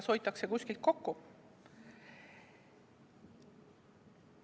Kas hoitakse kuskilt kokku?